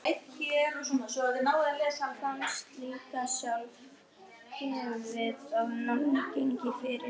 Karl er enn á lífi og á heima á Eskifirði.